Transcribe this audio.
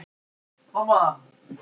Þessi umræða kemur á óvart.